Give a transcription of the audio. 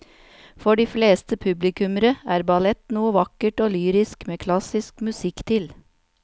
For de fleste publikummere er ballett noe vakkert og lyrisk med klassisk musikk til.